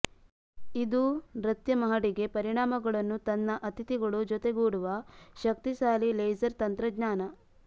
ಇದು ನೃತ್ಯ ಮಹಡಿಗೆ ಪರಿಣಾಮಗಳನ್ನು ತನ್ನ ಅತಿಥಿಗಳು ಜೊತೆಗೂಡುವ ಶಕ್ತಿಶಾಲಿ ಲೇಸರ್ ತಂತ್ರಜ್ಞಾನ